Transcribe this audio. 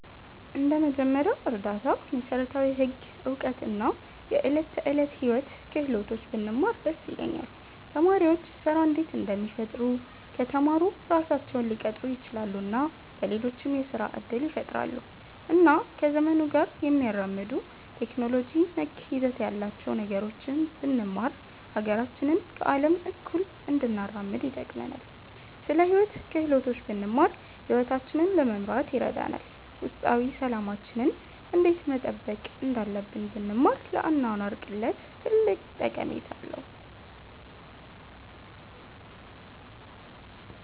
እንደ መጀመሪያ እርዳታ፣ መሠረታዊ ህግ እውቀት እና የዕለት ተዕለት ሕይወት ክህሎቶች ብንማር ደስ ይለኛል። ተማሪዎች ስራ እንዴት እንደሚፈጥሩ ከተማሩ ራሳቸውን ሊቀጥሩ ይችላሉ እና ለሌሎችም የስራ እድል ይፈጥራሉ። እና ከዘመኑ ጋር የሚያራምዱ ቴክኖሎጂ ነክ ይዘት ያላቸውን ነገሮች ብንማር ሀገራችንን ከአለም እኩል እንድናራምድ ይጠቅመናል። ስለ ሂወት ክህሎቶች ብንማር ሂወታችንን ለመምራት ይረዳናል። ውስጣዊ ሠላማችንን እንዴት መጠበቅ እንዳለብን ብንማር ለአኗኗር ቅለት ትልቅ ጠቀሜታ አለዉ።